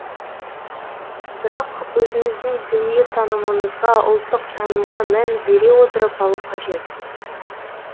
бірақ өзіңіздің дүниетанымыңызға ұлттық танымға мән бере отырып алу қажет